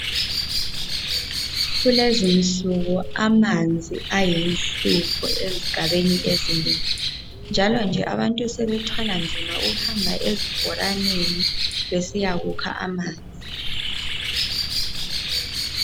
Kulezinsuku amanzi ayinhlupho ezigabeni ezinengi njalonje abantu sebethwala nzima ukuhamba ezibhoraneni besiya kukha amanzi.